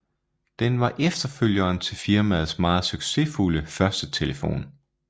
Den var efterfølgeren til firmaets meget succesfulde første telefon